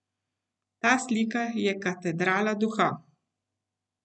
Ta slika je katedrala duha.